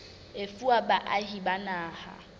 e fuwa baahi ba naha